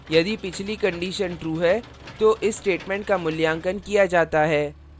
यदि पिछली condition true है तो इस statement का मूल्यांकन किया जाता है